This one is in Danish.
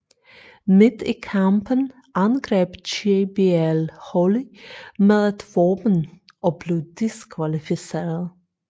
Midt i kampen angreb JBL Holly med et våben og blev diskvalificeret